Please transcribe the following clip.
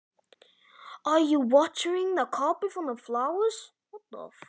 Ert að vökva teppið eða blómin?